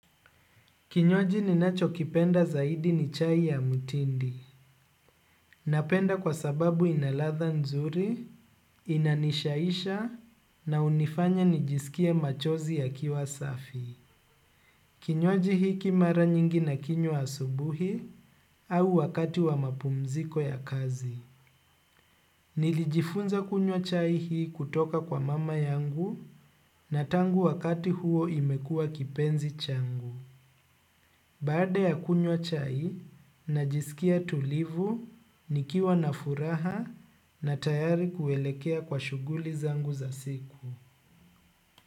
Kinywaji ninachokipenda zaidi ni chai ya mutindi. Napenda kwa sababu ina ladha nzuri, inanishaisha, na unifanya nijisikie machozi ya kiwasafi. Kinywaji hiki mara nyingi nakinywa asubuhi au wakati wa mapumziko ya kazi. Nilijigunza kunywa chai hii kutoka kwa mama yangu na tangu wakati huo imekuwa kipenzi changu. Baada ya kunywa chai, najisikia tulivu, nikiwa na furaha na tayari kuelekea kwa shughuli zangu za siku.